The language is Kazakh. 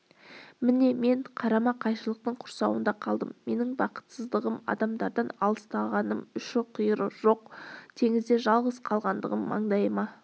міне мен қарама-қайшылықтың құрсауында қалдым менің бақытсыздығым адамдардан аластатылғаным ұшы-қиыры жоқ теңізде жалғыз қалғандығым маңдайыма